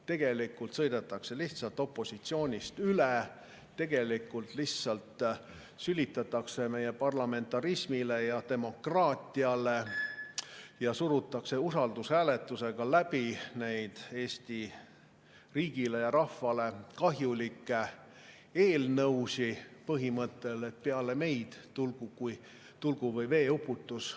Tegelikult sõidetakse lihtsalt opositsioonist üle, tegelikult lihtsalt sülitatakse meie parlamentarismile ja demokraatiale ning surutakse usaldushääletusega läbi Eesti riigile ja rahvale kahjulikke eelnõusid, põhimõttel, et peale meid tulgu või veeuputus.